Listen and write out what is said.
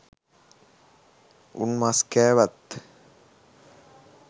උන් මස් කෑවත්